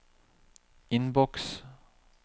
innboks